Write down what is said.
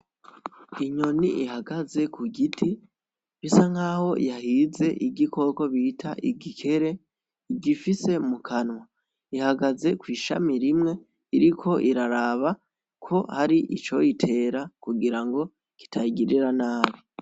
Inyoni ihagaze ku giti bisa nkaho yahize igikoko bita igikere igifise mu kanwa, ihagaze kw'ishami rimwe iriko iraraba ko hari ico yitera kugira ngo kitayigirira nabi.